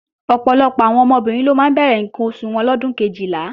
Ọ̀pọ̀lọpọ̀ àwọn ọmọbìnrin ló máa ń bẹ̀rẹ̀ ǹkan oṣù wọn lọ́dún Kejìlá